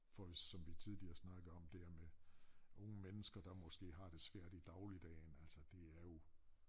For hvis som vi tidligere snakkede om det her med unge mennesker der måske har det svært i dagligdagen altså det er jo